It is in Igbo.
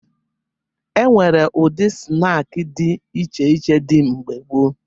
E nwere ụdị snaakị dị iche iche dị mgbe gboo